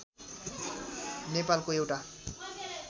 नेपालको एउटा